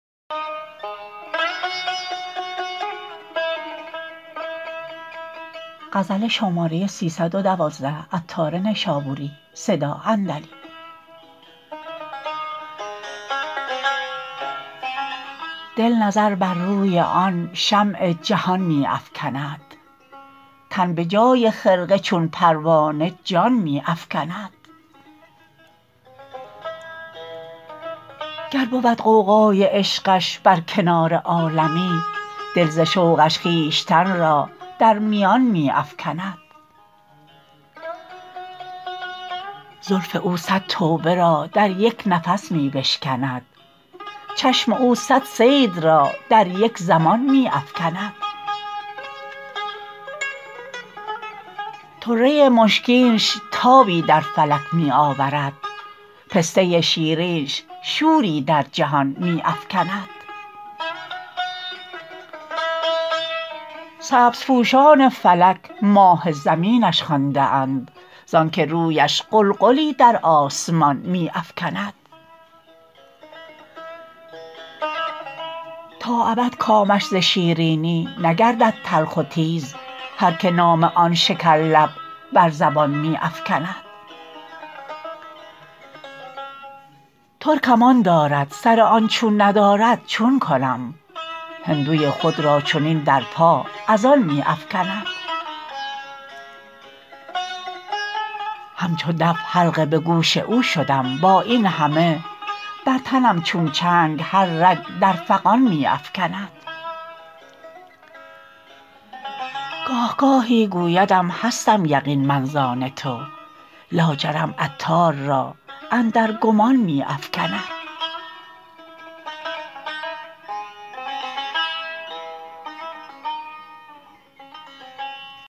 دل نظر بر روی آن شمع جهان می افکند تن به جای خرقه چون پروانه جان می افکند گر بود غوغای عشقش بر کنار عالمی دل ز شوقش خویشتن را در میان می افکند زلف او صد توبه را در یک نفس می بشکند چشم او صد صید را در یک زمان می افکند طره مشکینش تابی در فلک می آورد پسته شیرینش شوری در جهان می افکند سبز پوشان فلک ماه زمینش خوانده اند زانکه رویش غلغلی در آسمان می افکند تا ابد کامش ز شیرینی نگردد تلخ و تیز هر که نام آن شکر لب بر زبان می افکند ترکم آن دارد سر آن چون ندارد چون کنم هندوی خود را چنین در پا از آن می افکند همچو دف حلقه به گوش او شدم با این همه بر تنم چون چنگ هر رگ در فغان می افکند گاهگاهی گویدم هستم یقین من زان تو لاجرم عطار را اندر گمان می افکند